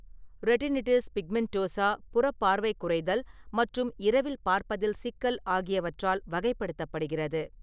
Retinitis pigmentosa, புறப் பார்வை குறைதல் மற்றும் இரவில் பார்ப்பதில் சிக்கல் ஆகியவற்றால் வகைப்படுத்தப்படுகிறது.